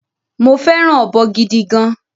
Mo féràn ọ̀bọ gidi gan